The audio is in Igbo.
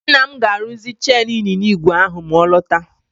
Nna m ga-arụzi chen ịnyịnya ígwè ahụ ma ọ lọta.